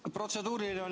Jah, protseduuriline.